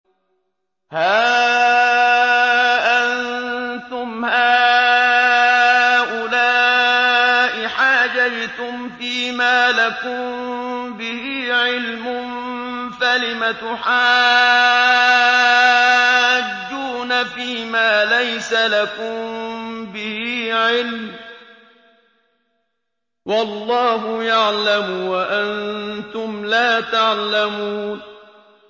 هَا أَنتُمْ هَٰؤُلَاءِ حَاجَجْتُمْ فِيمَا لَكُم بِهِ عِلْمٌ فَلِمَ تُحَاجُّونَ فِيمَا لَيْسَ لَكُم بِهِ عِلْمٌ ۚ وَاللَّهُ يَعْلَمُ وَأَنتُمْ لَا تَعْلَمُونَ